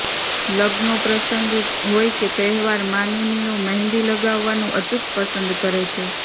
લગ્નનો પ્રસંગ હોય કે તહેવાર માનુનીઓ મહેંદી લગાવવાનું અચૂક પસંદ કરે છે